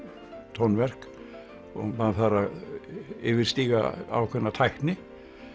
tónverk og maður þarf að yfirstíga ákveðna tækni